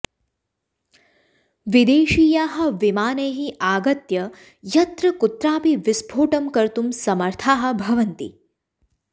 विदेशीयाः विमानैः आगत्य यत्र कुत्रापि विस्फोटं कर्तुं समर्थाः भवन्ति